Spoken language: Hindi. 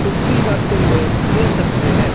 डुबकी लगाते हुए देख सकते हैं।